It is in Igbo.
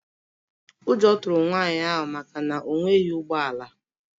Ụjọ tụrụ nwanyị ahụ maka na o nweghị ụgbọ ala.